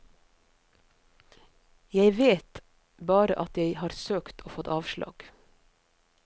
Jeg vet bare at jeg har søkt og fått avslag.